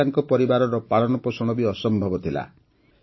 ସେଥିରେ ତାଙ୍କ ପରିବାରର ପାଳନ ପୋଷଣ ବି ଅସମ୍ଭବ ଥିଲା